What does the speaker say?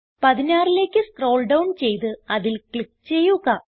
16ലേക്ക് scroll down ചെയ്ത് അതിൽ click ചെയ്യുക